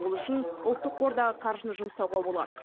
ол үшін ұлттық қордағы қаржыны жұмсауға болады